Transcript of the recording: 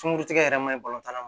Sunguru tigɛ yɛrɛ ma tan na